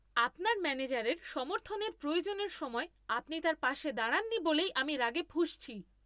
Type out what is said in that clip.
আপনার ম্যানেজারের সমর্থনের প্রয়োজনের সময় আপনি তার পাশে দাঁড়াননি বলেই আমি রাগে ফুঁসছি।